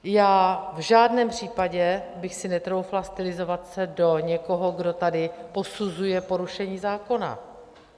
Já v žádném případě bych si netroufla stylizovat se do někoho, kdo tady posuzuje porušení zákona.